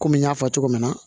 Kɔmi n y'a fɔ cogo min na